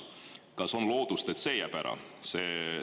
Kas on lootust, et see jääb ära?